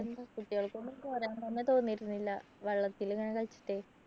കുട്ടികൾക്കൊന്നും പോരാൻ തന്നെ തോന്നിയിരുന്നില്ല വെള്ളത്തിൽ ഇങ്ങനെ കളിച്ചിട്ടേ